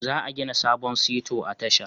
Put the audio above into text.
Za a gina sabon Sito a tashar